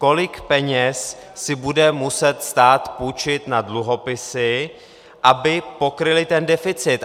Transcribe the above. Kolik peněz si bude muset stát půjčit na dluhopisy, aby pokryly ten deficit?